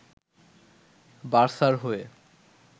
বার্সার হয়ে